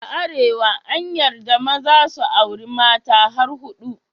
A Arewa an yarda maza su auri mata har hudu.